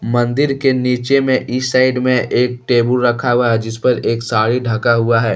मंदिर के नीचे में इस साइड में एक टेबुल रखा हुआ है जिस पर एक साड़ी ढका हुआ है।